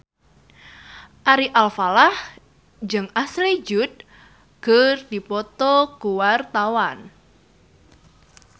Ari Alfalah jeung Ashley Judd keur dipoto ku wartawan